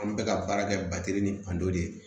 An bɛ ka baara kɛ ni de ye